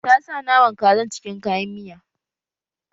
Ta sa naman kazan cikin kayan miya